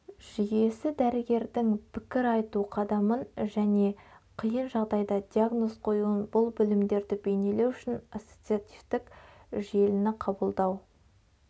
жүйесі дәрігердің пікір айту қадамын және қиын жағдайда диагноз қоюын бұл білімдірді бейнелеу үшін ассоциативтік желіні қабылдау